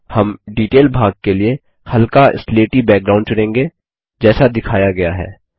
हम डिटेल भाग के लिए हल्का स्लेटी बैकग्राउंड चुनेंगे जैसा दिखाया गया है